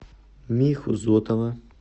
миху зотова